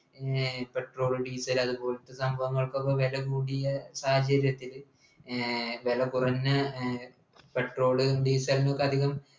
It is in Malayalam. ഏർ petrol diesel അതുപോലത്തെ സംഭവങ്ങൾക്ക്ഒക്കെ വെല കൂടീലെ സാഹചര്യത്തില് ഏർ വിലകുറഞ്ഞ ഏർ petrol diesel നൊക്കെ അധികം